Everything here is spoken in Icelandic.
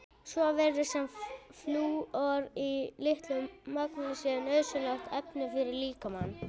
Svo virðist sem flúor í mjög litlu magni sé nauðsynlegt efni fyrir líkamann.